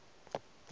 o fe yo a tlolago